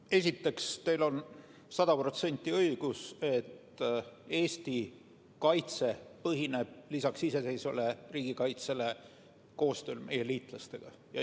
No esiteks, teil on sada protsenti õigus, et Eesti kaitse põhineb lisaks iseseisvale riigikaitsele koostööl meie liitlastega.